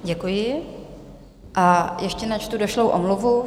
Děkuji a ještě načtu došlou omluvu.